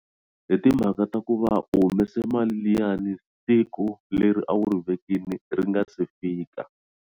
Hi timhaka ta ku va u humese mali liyani siku leri a wu ri vekini ri nga se fika.